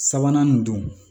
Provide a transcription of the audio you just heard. Sabanan nin don